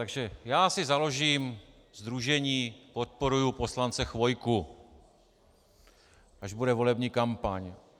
Takže já si založím sdružení Podporuju poslance Chvojku, až bude volební kampaň.